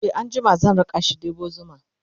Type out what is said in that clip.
e an jima zan rakashi ɗebo zuma